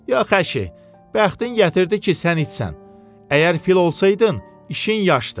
Yox əşi, bəxtin gətirdi ki, sən itsən, əgər fil olsaydın, işin yaşdı.